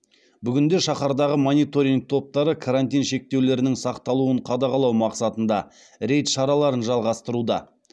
бүгінде шаһардағы мониторинг топтары карантин шектеулерінің сақталуын қадағалау мақсатында рейд шараларын жалғастыруда